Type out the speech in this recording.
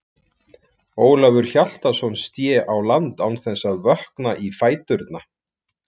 Ólafur Hjaltason sté á land án þess að vökna í fæturna.